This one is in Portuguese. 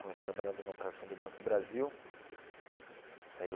Comecei trabalhando na operação do Banco do Brasil aí eu.